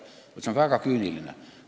See on väga küüniline.